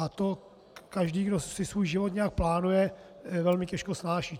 A to každý, kdo si svůj život nějak plánuje, velmi těžko snáší.